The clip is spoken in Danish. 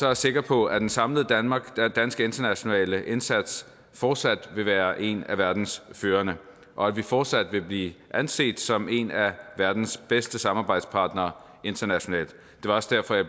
jeg sikker på at den samlede danske internationale indsats fortsat vil være en af verdens førende og at vi fortsat vil blive anset som en af verdens bedste samarbejdspartnere internationalt det var også derfor at